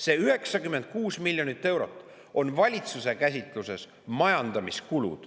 See 96 miljonit eurot on valitsuse käsitluses majandamiskulu.